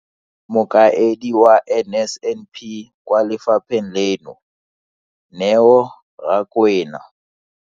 Mokaedi wa NSNP kwa lefapheng leno, Neo Rakwena.